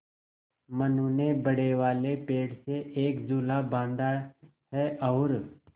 मनु ने बड़े वाले पेड़ से एक झूला बाँधा है और